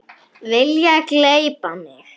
Vilja gleypa mig.